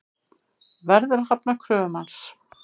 Verður að hafna kröfum hans.